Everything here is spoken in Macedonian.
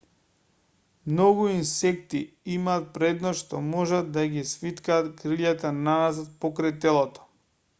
многу инсекти имаат предност што можат да ги свиткаат кријлата наназад покрај телото